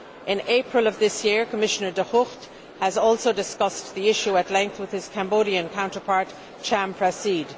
In April this year, Commissioner De Gucht also discussed the issue at length with his Cambodian counterpart Cham Prasidh.